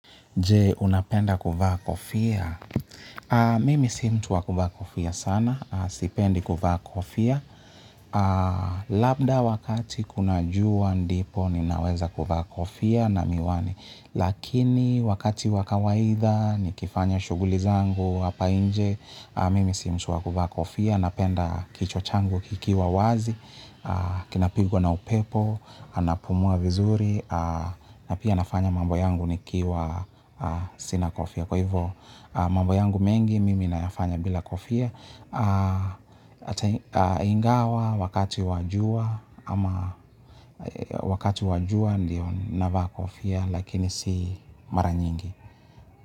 Jee, unapenda kuvaa kofia? Mimi si mtu wa kuvaa kofia sana. Sipendi kuvaa kofia. Labda wakati kuna juwa ndipo ninaweza kuvaa kofia na miwani. Lakini wakati wa kawaida nikifanya shughuli zangu hapa nje. Mimi si mtu wa kuvaa kofia. Napenda kichwa changu kikiwa wazi. Kinapigwa na upepo. Anapumua vizuri. Na pia nafanya mambo yangu nikiwa sina kofia. Kwa hivo mambo yangu mengi mimi nayafanya bila kofia hata ingawa wakati wa jua. Ama wakati wa jua ndiyo navaa kofia. Lakini si mara nyingi.